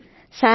మీకు ఎలా వుంది